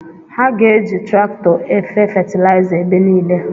Ha ga-eji traktọ efe fetiliza ebe niile